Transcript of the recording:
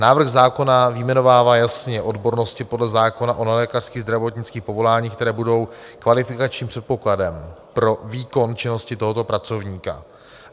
Návrh zákona vyjmenovává jasně odbornosti podle zákona o nelékařských zdravotnických povoláních, které budou kvalifikačním předpokladem pro výkon činnosti tohoto pracovníka.